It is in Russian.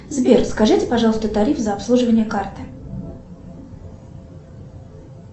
сбер скажите пожалуйста тариф за обслуживание карты